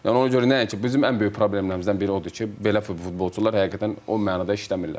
Yəni ona görə nəinki, bizim ən böyük problemlərimizdən biri odur ki, belə futbolçular həqiqətən o mənada işləmirlər.